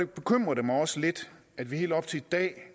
bekymrer det mig også lidt at vi helt op til i dag